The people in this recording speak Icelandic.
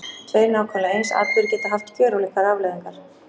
Tveir nákvæmlega eins atburðir geta haft gjörólíkar afleiðingar.